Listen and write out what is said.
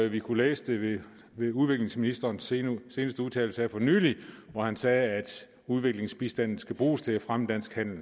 vi kunne læse det ved udviklingsministerens seneste udtalelse her for nylig hvor han sagde at udviklingsbistanden skal bruges til at fremme dansk handel